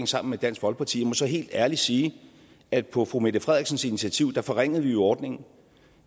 sammen med dansk folkeparti må så helt ærligt sige at på fru mette frederiksens initiativ forringede vi jo ordningen